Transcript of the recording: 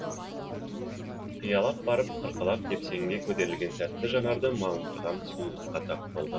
қиялап барып қырқалап тепсеңге көтерілген сәтте жанарды малындырған сұлулыққа тап болды